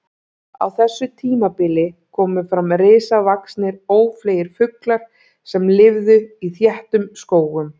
Á þessu tímabili komu fram risavaxnir ófleygir fuglar sem lifðu í þéttum skógum.